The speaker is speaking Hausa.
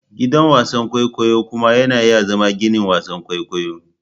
Gidan wasan kwaikwayo kuma yana iya zama ginin wasan kwaikwayo.